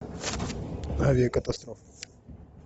авиакатастрофа